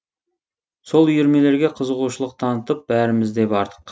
сол үйірмелерге қызығушылық танытып бәріміз де бардық